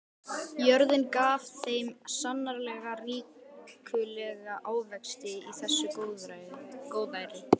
Jörðin gaf þeim sannarlega ríkulega ávexti í þessu góðæri.